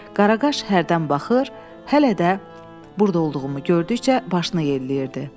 Qaraqaş hərdən baxır, hələ də burda olduğumu gördükcə başını yelləyirdi.